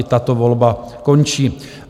I tato volba končí.